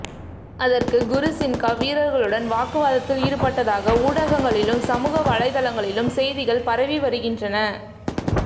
அதற்கு குரு சின்கா வீரர்களுடன் வாக்குவாதத்தில் ஈடுபட்டதாக ஊடகங்களிலும் சமூக வலைதளங்களிலும் செய்திகள் பரவி வருகின்றன